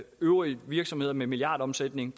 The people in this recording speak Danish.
øvrige virksomheder med milliardomsætning